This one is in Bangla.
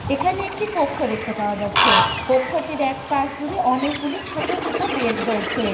এখানে একটি কক্ষ দেখতে পাওয়া যাচ্ছে কক্ষটির একপাশ জুড়ে অনেকগুলি ছোট ছোট বেড রয়েছে।